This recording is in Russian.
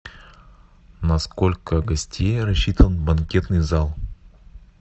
на сколько гостей рассчитан банкетный зал